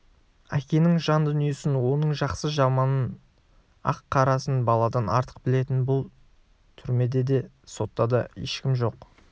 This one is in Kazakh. әкенің жан дүниесін оның жақсы-жаманың ақ-қарасын баладан артық білетін бұл түрмеде де сотта да ешкім жоқ